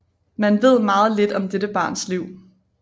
Man ved meget lidt om dette barns liv